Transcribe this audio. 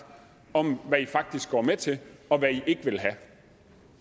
om hvad i faktisk går med til og hvad i ikke vil have